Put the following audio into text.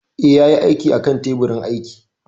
Eh, ya yi aikin a kan teburin aiki